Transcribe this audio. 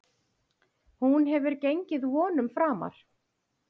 Hún hefur gengið vonum framar.